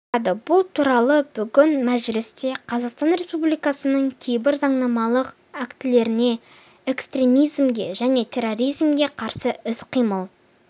бұзады бұл туралы бүгін мәжілісте қазақстан республикасының кейбір заңнамалық актілеріне экстремизмге және терроризмге қарсы іс-қимыл